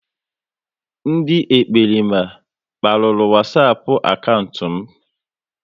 Ndị ekperima kparuru Wasapu akaụntụ m